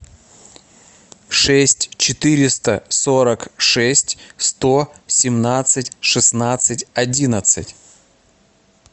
шесть четыреста сорок шесть сто семнадцать шестнадцать одиннадцать